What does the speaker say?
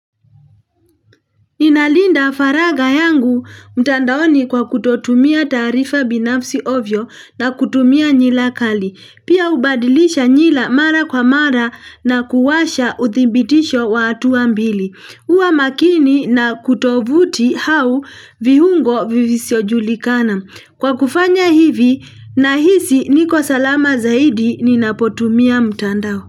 Inalinda faragha yangu mtandaoni kwa kutotumia taarifa binafsi ovyo na kutumia nyila kali. Pia hubadilisha nywila mara kwa mara na kuwasha uthibitisho wa hatua mbili. Kuwa makini na tovuti au vihungo visivyo julikana. Kwa kufanya hivi nahisi niko salama zaidi ninapotumia mtandao.